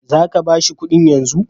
Za ka ba shi kuɗin yanzu?